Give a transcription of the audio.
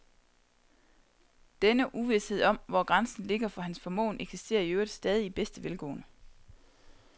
Denne uvished om, hvor grænsen ligger for hans formåen, eksisterer i øvrigt stadig i bedste velgående.